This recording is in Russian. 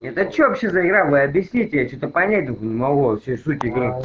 это что вообще за игра вы объясните я что-то понять только не могу вообще суть игры